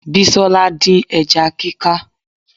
Bisola dín ẹja kíká